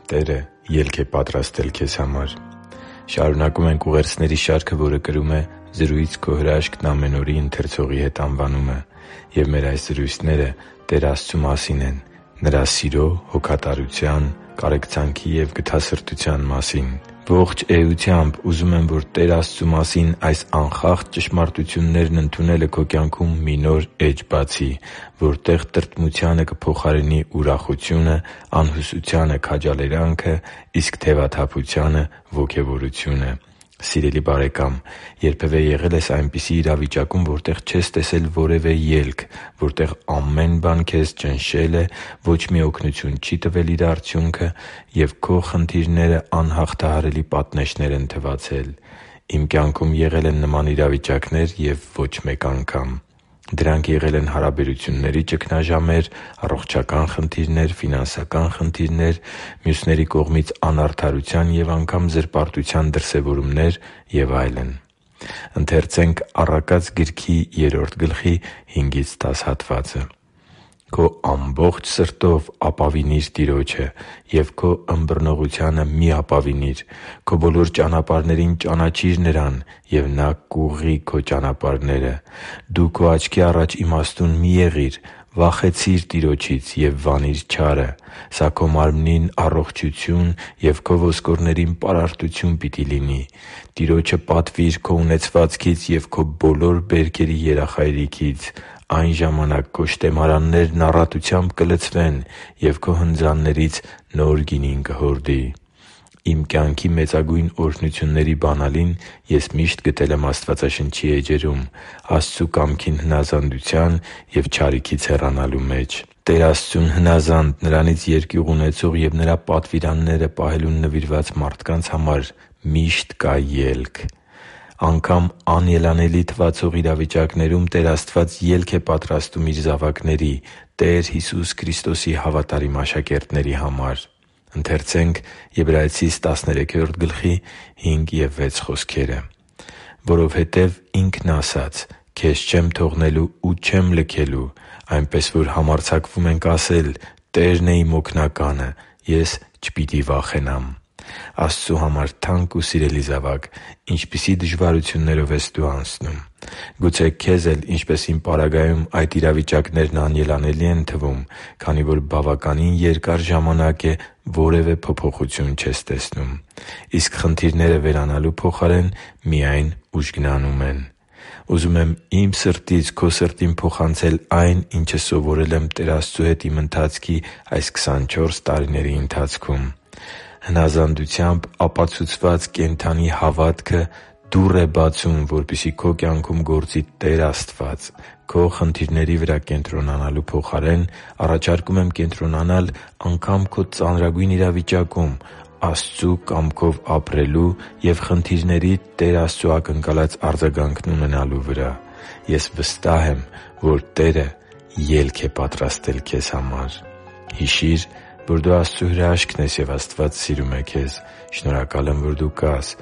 Տերը ելք է պատրաստել քեզ համար Շարունակում ենք ուղերձների շարքը, որը կրում է «Զրույց«Քո հրաշքն՝ ամեն օր»-ի ընթերցողի հետ» անվանումը։ Եվ մեր այս զրույցները Տեր Աստծու մասին են՝ Նրա սիրո, հոգատարության, կարեկցանքի և գթասրտության մասին։ Ողջ էությամբ ուզում եմ, որ Տեր Աստծու մասին այս անխախտ ճշմարտություններն ընդունելը քո կյանքում մի նոր էջ բացի, որտեղ տրտմությանը կփոխարինի ուրախությունը, անհուսությանը՝ քաջալերանքը, իսկ թևաթափությանը՝ ոգևորությունը։ Սիրելի՛ բարեկամ, երբևէ եղե՞լ ես այնպիսի իրավիճակում, որտեղ չես տեսել որևէ ելք, որտեղ ամեն բան ճնշել է քեզ, ոչ մի օգնություն չի տվել որևէ արդյունք, և քո խնդիրները անհաղթահարելի պատնեշներ են թվացել։ Իմ կյանքում եղել են նման իրավիճակներ և ոչ մեկ անգամ։ Դրանք եղել են հարաբերությունների ճգնաժամեր, առողջական խնդիրներ, ֆինանսական խնդիրներ, մյուսների կողմից անարդարության և անգամ զրպարտության դրսևորումներ և այլն։ «Քո ամբողջ սրտով ապավինի՛ր Տիրոջը և քո ըմբռնողությանը մի՛ ապավինիր։ Քո բոլոր ճանապարհներին ճանաչի՛ր Նրան, և Նա կուղղի քո ճանապարհները։ Դու քո աչքի առաջ իմաստուն մի՛ եղիր, վախեցի՛ր Տիրոջից և վանի՛ր չարը։ Սա քո մարմնին առողջություն և քո ոսկորներին պարարտություն պիտի լինի։ Տիրոջը պատվի՛ր քո ունեցվածքից և քո բոլոր բերքերի երախայրիքից։ Այն ժամանակ քո շտեմարաններն առատությամբ կլցվեն, և քո հնձաններից նոր գինին կհորդի» (Առակաց 3.5-10): Իմ կյանքի մեծագույն օրհնությունների բանալին ես միշտ գտել եմ Աստվածաշնչի էջերում՝ Աստծու կամքին հնազանդության և չարիքից հեռանալու մեջ։ Տեր Աստծուն հնազանդ, Նրանից երկյուղ ունեցող և Նրա պատվիրանները պահելուն նվիրված մարդկանց համար միշտ կա ելք։ Անգամ անելանելի թվացող իրավիճակներում Տեր Աստված ելք է պատրաստում Իր զավակների՝ Տեր Հիսուս Քրիստոսի հավատարիմ աշակերտների համար։ «․․․որովհետև Ինքն իսկ ասաց. «Քեզ չեմ թողնելու ու չեմ լքելու»։ Այնպես որ համարձակվում ենք ասել. «Տերն է իմ օգնականը, և ես չպիտի վախենամ․․․» (Եբրայեցիներին 13:5-6)։ Աստծու համար թանկ ու սիրելի՛ զավակ, ինչպիսի՞ դժվարություններով ես դու անցնում։ Գուցե, քեզ էլ, ինչպես իմ պարագայում, այդ իրավիճակներն անելանելի են թվում, քանի որ բավականին երկար ժամանակ է՝ որևէ փոփոխություն չես տեսնում, իսկ խնդիրները վերանալու փոխարեն միայն ուժգնանում են։ Ուզում եմ իմ սրտից քո սրտին փոխանցել այն, ինչը սովորել եմ Տեր Աստծու հետ իմ ընթացքի այս քսանչորս տարիների ընթացքում։ Հնազանդությամբ ապացուցված կենդանի հավատքը դուռ է բացում, որպեսզի քո կյանքում գործի Տեր Աստված։ Քո խնդիրների վրա կենտրոնանալու փոխարեն առաջարկում եմ կենտրոնանալ անգամ քո ծանրագույն իրավիճակում Աստծու կամքով ապրելու և խնդիրներիդ Տեր Աստծու ակնկալած արձագանքն ունենալու վրա։ Ես վստահ եմ, որ Տերը ելք է պատրաստել քեզ համար․․․ Հիշի՛ր, որ դու Աստծո հրաշքն ես, և Աստված սիրում է քեզ։ Շնորհակալ եմ, որ դու կա՛ս